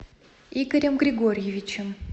игорем григорьевичем